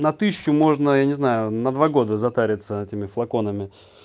на тысячу можно я не знаю на два года затариться этими флаконами